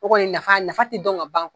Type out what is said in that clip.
O kɔni nafa nafa ti dɔn ka ban